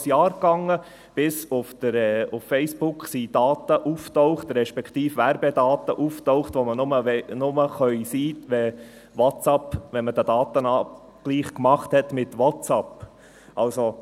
Es dauerte genau ein Jahr, bis auf Facebook Daten auftauchten, respektive Werbedaten, die nur erscheinen können, wenn ein Datenausgleich mit WhatsApp gemacht wurde.